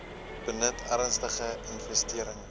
benut ernstige infestering